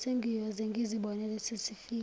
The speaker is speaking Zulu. sengiyoze ngizibonele sesifika